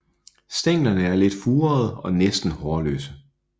Stænglerne er lidt furede og næsten hårløse